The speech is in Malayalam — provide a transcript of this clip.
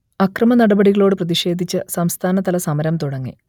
അക്രമനടപടികളോട് പ്രതിക്ഷേധിച്ച് സംസ്ഥാനതല സമരം തുടങ്ങി